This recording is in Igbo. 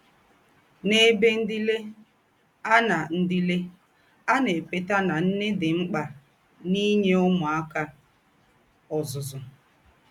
N’ēbè ńdílé, à na ńdílé, à na - ékwétà nà nnè dị mkpa n’ínye ǔmūáka ọ́zụ́zụ́.